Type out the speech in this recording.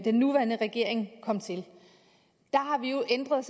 den nuværende regering kom til har vi jo ændret